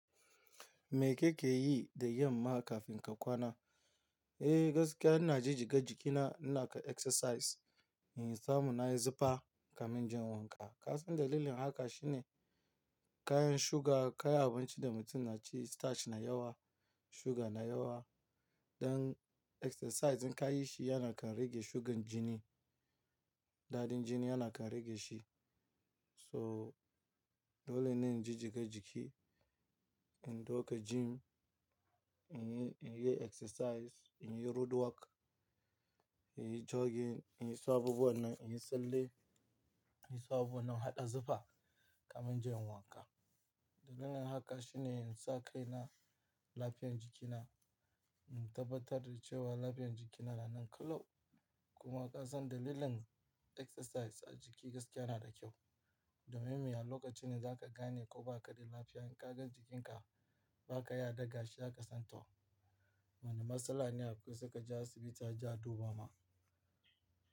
Me kake yi da yamma kafin ka kwana? Eh, gaskiya ina ji jiga jikina, inaka exercise, in samu na yi zufa kamin inje in wanka. Kasan dalilin haka shine kayan suga, kayan abinci da mutum na ci, starch na yawa, suga na yawa. Dan exercise in ka yi shi yana kan rage sugar jini. Daɗin jini yana kan rage shi. So dole ne in ji jiga jiki, in ɗauka gym, in yi, in yi exercise, in yi roadwork, in yi jogging, in yi su aɓubuwan nan, in yi tsalle, in yi samu na haɗa zufa kamin inje inyi wanka. Dalilin haka shine in sa kai na lafiyar jikina, in tabbatar da cewa lafiyar jikina tana kyau. Kuma ka san dalilin exercise a jiki gaskiya yana da kyau. Domin me? A lokacin da zaka gane ko ba kaɗai lafiya, in ka gan jikinka ba ka ya daga shi, za ka san to wane matsala ne akwai, sai ka je asibiti aje a dubama.